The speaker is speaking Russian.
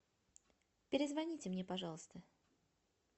перезвоните мне пожалуйста